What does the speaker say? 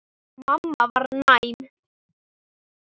Mamma var næm.